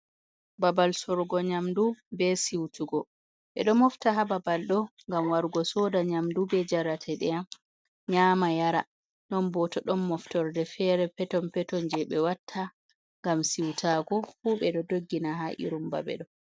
Ɓaɓal sorugo nyamɗu, ɓe siwtugo. Ɓe ɗo mofta ha ɓaɓal ɗo ngam warugo soɗa nyamɗu ɓe jarateɗam, nyama yara. Ɗon ɓo to ɗon moftorɗe fere peton peton je ɓe watta ngam siwtaago, fu ɓe ɗo ɗoggina ha irum ɓaɓe ɗo.